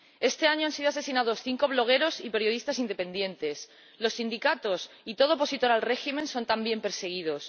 Este año han sido asesinados cinco blogueros y periodistas independientes, y los sindicatos y todo opositor al régimen son también perseguidos.